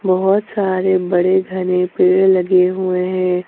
बहुत सारे बड़े घने पेड़ लगे हुए हैं।